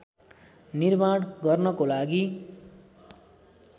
निर्माण गर्नको लागि